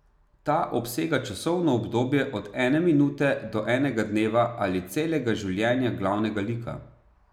Ta obsega časovno obdobje od ene minute do enega dneva ali celega življenja glavnega lika.